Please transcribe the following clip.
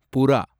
புறா